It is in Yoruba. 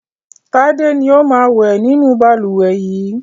Tád ni ó máa ń wẹ̀ nínú balùwẹ̀ yìí.